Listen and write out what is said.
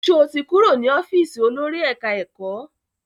Sọ ti kúrò ní ọ́fíìsì olórí ẹ̀ká-ẹ̀kọ́?